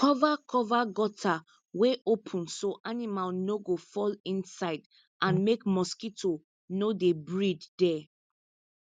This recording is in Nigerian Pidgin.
cover cover gutter wey open so animal no go fall inside and make mosquito no dey breed there